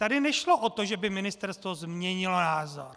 Tady nešlo o to, že by ministerstvo změnilo názor.